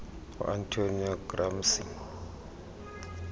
ngu antonio gramsci